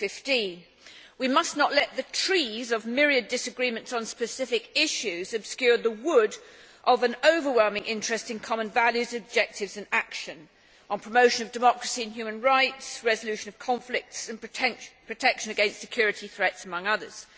2015. We must not let the trees of myriad disagreements on specific issues obscure the wood of an overwhelming interest in common values and objectives, and action on promotion of democracy and human rights, resolution of conflicts and protection against security threats among others.